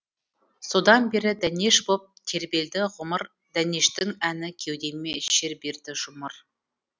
содан бері дәнеш боп тербелді ғұмыр дәнештің әні кеудеме шер берді жұмыр